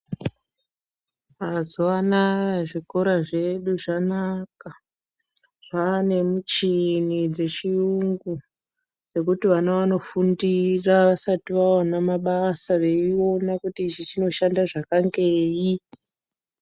Mazuva anaya zvikora zvedu zvanaka zvane michini dzechiyungu. Dzekuti vana vanofundira vasati vaona mabasa veiona kuti ichi chinoshande zvakangei.